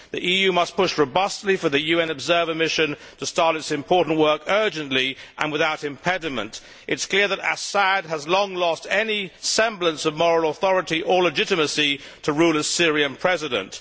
The EU must push robustly for the UN observer mission to start its important work urgently and without impediment. It is clear that Assad has long lost any semblance of moral authority or legitimacy to rule as Syrian President.